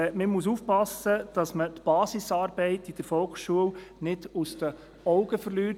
Man muss aufpassen, dass man die Basisarbeit in der Volksschule nicht aus den Augen verliert.